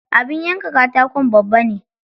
Abin yanka katakon babba ne.